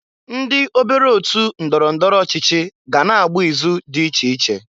Ndị obere otu ndọrọ ndọrọ ọchịchị ga na-agba ịzụ dị iche iche.